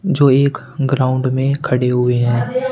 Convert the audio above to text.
जो एक ग्राउंड में खड़े हुए हैं।